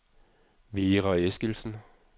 Vera Eskildsen